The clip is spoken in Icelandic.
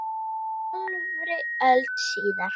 Hálfri öld síðar.